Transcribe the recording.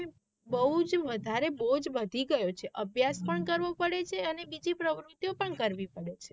બહુજ વધારે બોઝ વધી ગયો છે અભ્યાસ પણ કરવો પડે છે અને બીજી પ્રવૃતિઓ પણ કરવી પડે છે.